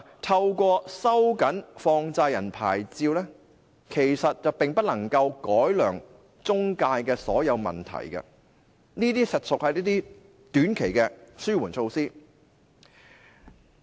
透過收緊放債人牌照，其實並不能夠改良中介公司的所有問題，這些實屬一些短期的紓緩措施。